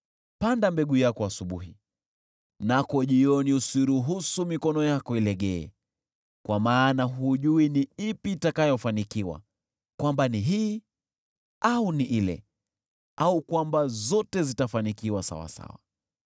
Panda mbegu yako asubuhi, nako jioni usiruhusu mikono yako ilegee, kwa maana hujui ni ipi itakayofanikiwa, kwamba ni hii au ni ile, au kwamba zote zitafanikiwa sawasawa.